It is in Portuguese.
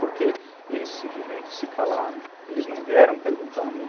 Porque eles simplesmente se calaram, eles não vieram perguntar a mim.